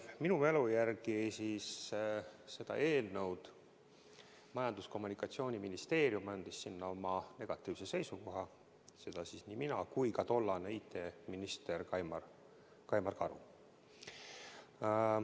Minu mälu järgi selle eelnõu kohta Majandus- ja Kommunikatsiooniministeerium andis negatiivse seisukoha, seda tegime nii mina kui ka tollane IT-minister Kaimar Karu.